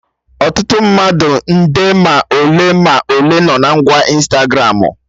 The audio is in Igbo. Ọtụtụ mmadụ nde ma ole ma ole no na ngwa Ịnstagramụ